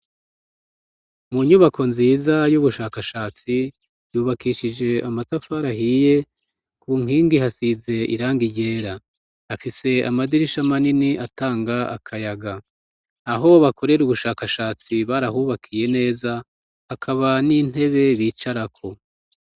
Mu nyubako nziza y'ubushakashatsi ,yubakishije amatafari ahiye ,ku nkingi hasize irangi ryera ,afise amadirisha manini atanga akayaga, aho bakorera ubushakashatsi barahubakiye neza ,akaba n'intebe bicarako.